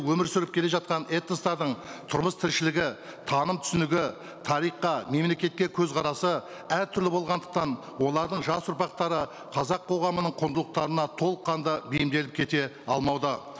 өмір сүріп келе жатқан этностардың тұрмыс тіршілігі таным түсінігі тарихқа мемлекетке көзқарасы әртүрлі болғандықтан олардың жас ұрпақтары қазақ қоғамының құндылықтарына толыққанды бейімделіп кете алмауда